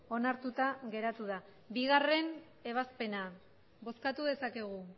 onartuta geratu da bigarrena ebazpena bozkatu dezakegu